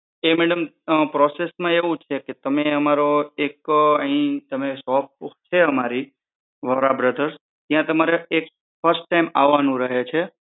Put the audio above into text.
એ madam process માં એવું છે કે તમે અમારો એક અહી shop છે અમારી વોરા brothers ત્યાં તમારે એક first time આવવાનું રહે છે.